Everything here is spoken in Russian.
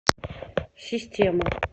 система